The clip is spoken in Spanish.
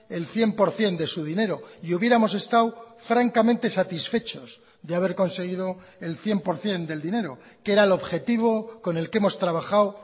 el cien por ciento de su dinero y hubiéramos estado francamente satisfechos de haber conseguido el cien por ciento del dinero que era el objetivo con el que hemos trabajado